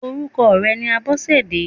Orúkọ rẹ̀ ni Abọ́sẹ̀dé.